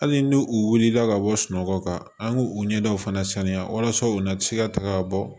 Hali ni u wulila ka bɔ sunɔgɔ kan an k'u ɲɛdaw fana sanuya walasa u na bɛ se ka taga bɔ